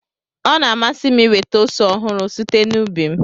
Ọ na-amasị m inweta ose ọhụrụ site n'ubi m